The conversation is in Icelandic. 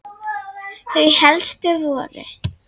Þau helstu voru